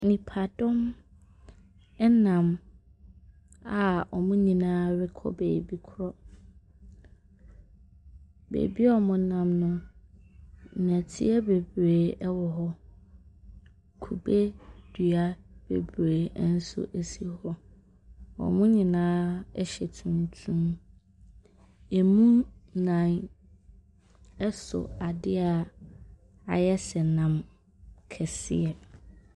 Nnipadɔn nam a wɔn nyinaa rekɔ baabi korɔ. Baabi a wɔnam no. nnɛteɛ bebree wɔ hɔ. Kube dua bebree nso si hɔ. Wɔn nyinaa hyɛ tuntum. Ɛmu nnan so adeɛ a ayɛ sɛ nam kɛseɛ.